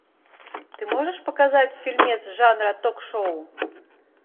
ты можешь показать фильмец жанра ток шоу